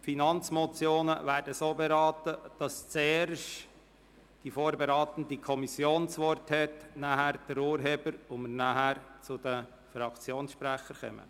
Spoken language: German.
Finanzmotionen werden so beraten, dass zuerst die vorberatende Kommission das Wort hat, dann der Urheber, und danach kommen die Fraktionssprecher zu Wort.